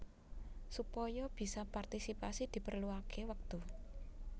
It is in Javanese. Supaya bisa partisipasi diperluaké wektu